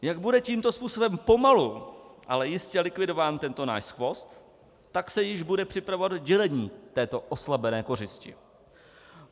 Jak bude tímto způsobem pomalu ale jistě likvidován tento náš skvost, tak se již bude připravovat dělení této oslabené kořisti.